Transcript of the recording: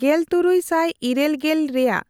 ᱜᱮᱞᱛᱩᱨᱩᱭ ᱥᱟᱭ ᱤᱨᱟᱹᱞᱜᱮᱞ ᱨᱮᱭᱟᱜ